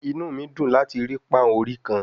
Inu mi dun lati ri pan ori kan